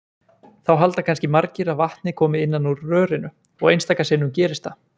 Þá halda kannski margir að vatnið komi innan úr rörinu og einstaka sinnum gerist það!